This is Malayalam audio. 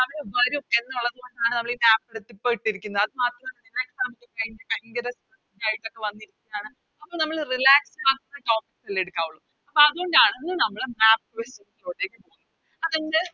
ന് വരും എന്നുള്ളതുകൊണ്ടാണ് നമ്മള് ഈ Map എട്ത്ത് ഇപ്പൊ ഇട്ടിരിക്കുന്നേ അത് മാത്രല്ല ഇപ്പൊ Exam ഒക്കെ കഴിഞ്ഞ് ഭയങ്കര ഇതായിട്ടൊക്കെ വന്നിരിക്ക്ന്നാണ് അപ്പൊ നമ്മള് Relax ആവുന്ന Topic അല്ലെ എടുക്കാവുള്ളു അപ്പൊ അതുകൊണ്ടാണ് ഇന്ന് നമ്മള്